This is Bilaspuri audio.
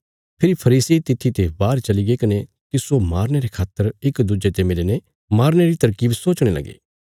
फेरी फरीसी तित्थी ते बाहर चलीगे कने तिस्सो मारने रे खातर इक दुज्जे ने मिलीने मारने री तरकीब सोचणे लगे